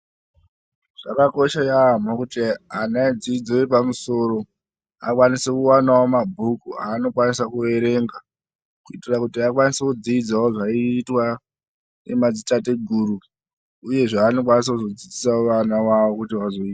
Zvakakosha yaemho kuti ana edzidzo yepamusoro akwanise kuwanawo mabhuku aano kwanisa kuerenga kuitira kuti akwanise kudzidzawo zvaiitwa nemadzitateguru, uyezve anokwanisawo kuzo dzidzisawo ana awo kuti azoita.